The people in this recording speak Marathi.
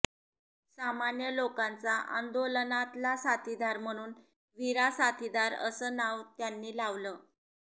सामान्य लोकांचा आंदोलनाताला साथीदार म्हणून वीरा साथीदार असं नाव त्यांनी लावलं